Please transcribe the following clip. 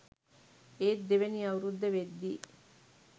ඒත් දෙවැනි අවුරුද්ද වෙද්දී